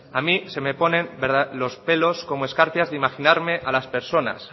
a mí se me ponen los pelos como escarpias de imaginarme a las personas